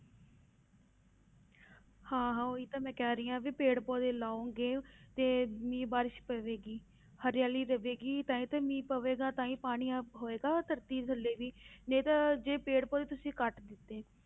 ਹਾਂ ਹਾਂ ਉਹੀ ਤਾਂ ਮੈਂ ਕਹਿ ਰਹੀ ਹਾਂ ਵੀ ਪੇੜ ਪੌਦੇ ਲਾਓਗੇ ਤੇ ਮੀਂਹ ਬਾਰਿਸ਼ ਪਵੇਗੀ, ਹਰਿਆਲੀ ਰਵੇਗੀ ਤਾਂ ਹੀ ਤਾਂ ਮੀਂਹ ਪਵੇਗਾ ਤਾਂ ਹੀ ਪਾਣੀ ਅਹ ਹੋਏਗਾ ਧਰਤੀ ਥੱਲੇ ਵੀ, ਨਹੀਂ ਤਾਂ ਜੇ ਪੇੜ ਪੌਦੇ ਤੁਸੀਂ ਕੱਟ ਦਿੱਤੇ,